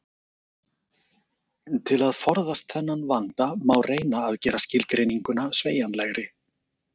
Til að forðast þennan vanda má reyna að gera skilgreininguna sveigjanlegri.